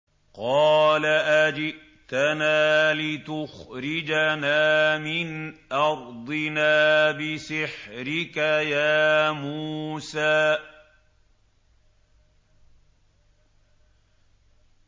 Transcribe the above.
قَالَ أَجِئْتَنَا لِتُخْرِجَنَا مِنْ أَرْضِنَا بِسِحْرِكَ يَا مُوسَىٰ